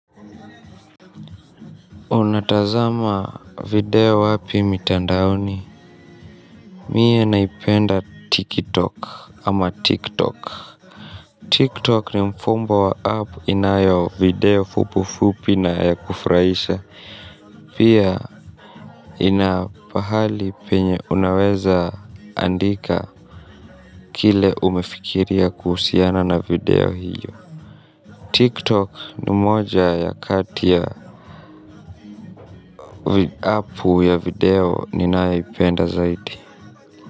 Unatazama video wapi mitandaoni. Mie naipenda TikTok ama TikTok TikTok ni mfumbo wa app inayo video fupu fupi na kufraisha. Pia inapahali penye unaweza andika kile umefikiria kuhusiana na video hiyo TikTok ni moja ya kati ya app ya video ninaipenda zaidi.